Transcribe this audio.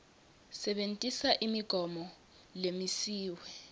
sebentisa imigomo lemisiwe